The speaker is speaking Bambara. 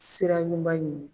Sira ɲuman ɲini